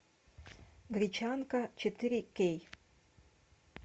гречанка четыре кей